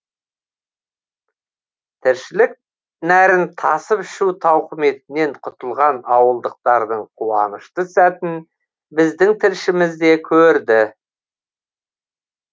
тіршілік нәрін тасып ішу тауқыметінен құтылған ауылдықтардың қуанышты сәтін біздің тілшіміз де көрді